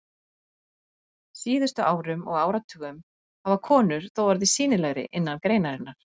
síðustu árum og áratugum hafa konur þó orðið sýnilegri innan greinarinnar.